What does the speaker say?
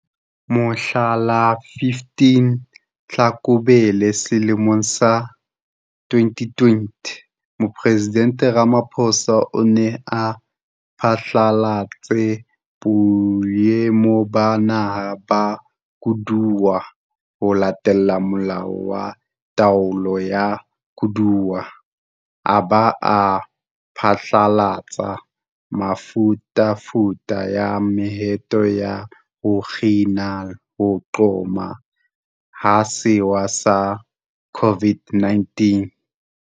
Mohla la 15 Tlhakubele selemong sa 2020, Mopresidente Ramaphosa o ne a phatlalatse Boemo ba Naha ba Koduwa ho latela Molao wa Taolo ya Koduwa, a ba a phatlalatsa mefutafuta ya mehato ya ho kgina ho qhoma ha sewa sa COVID-19.